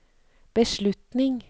beslutning